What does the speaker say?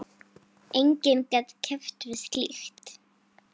Enginn gat keppt við slíkt.